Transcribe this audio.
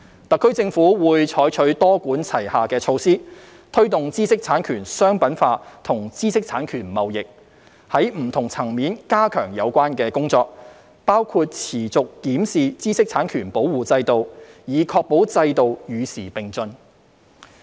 特區政府會採取多管齊下的措施，推動知識產權商品化及知識產權貿易，在不同層面加強有關工作，包括持續檢視知識產權保護制度，以確保制度與時並進。